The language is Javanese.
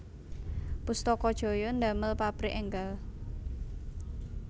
Pustaka Jaya ndamel pabrik enggal